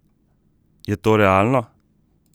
Je to realno?